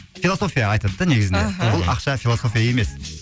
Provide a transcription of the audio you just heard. философия айтады да негізінде аха бұл ақша философия емес